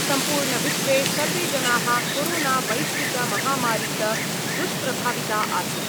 सम्पूर्णविश्वे सर्वे जनाः कोरोनावैश्विकमहामारीत दुष्प्रभाविता आसन्।